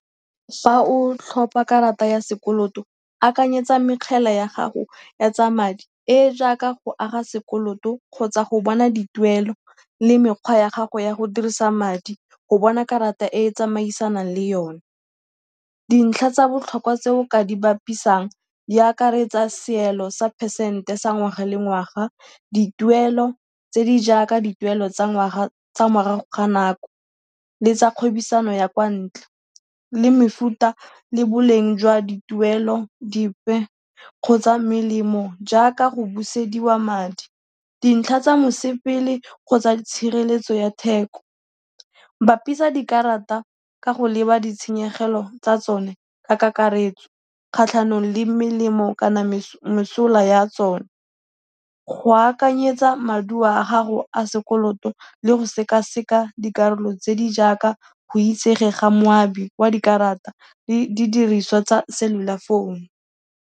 Fa o tlhopa karata ya sekoloto, akanyetsa mekgele ya gago ya tsa madi e e jaaka go aga sekoloto kgotsa go bona dituelo le mekgwa ya gago ya go dirisa madi go bona karata e e tsamaisanang le yone. Dintlha tsa botlhokwa tse o ka di bapisang di akaretsa seelo sa phesente sa ngwaga le ngwaga, dituelo tse di jaaka dituelo tsa ngwaga tsa morago ga nako le tsa kgwebisano ya kwa ntle, le mefuta le boleng jwa dituelo dipe kgotsa melemo jaaka go busediwa madi, dintlha tsa mosepele kgotsa tshireletso ya theko. Bapisa dikarata ka go leba ditshenyegelo tsa tsone ka kakaretso kgatlhanong le melemo kana mesola ya tsone, go akanyetsa maduo a gago a sekoloto le go sekaseka dikarolo tse di jaaka go itsege ga moabi wa dikarata le didiriswa tsa cellular phone.